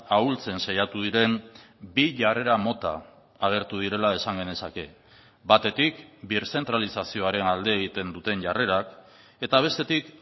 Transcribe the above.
ahultzen saiatu diren bi jarrera mota agertu direla esan genezake batetik birzentralizazioaren alde egiten duten jarrerak eta bestetik